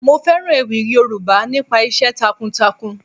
Mo fẹ́ràn ewì Yoruba nípa iṣẹ́ takun takun.